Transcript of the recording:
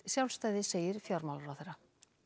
sjálfstæði segir fjármálaráðherra